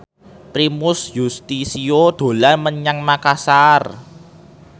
Primus Yustisio dolan menyang Makasar